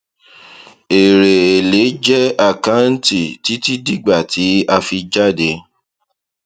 èrè èlé jẹ àkáǹtì títí dígbà tí a fi jáde